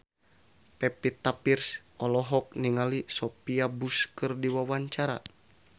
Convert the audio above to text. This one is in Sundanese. Pevita Pearce olohok ningali Sophia Bush keur diwawancara